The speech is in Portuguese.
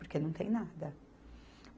Porque não tem nada.